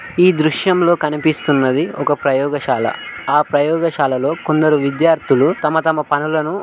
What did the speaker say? ఈ దృశ్యంలో కనిపిస్తున్నది ఒక ప్రయోగశాల ఆ ప్రయోగశాలలో కొందరు. విద్యార్థులు తమ తమ పనులను --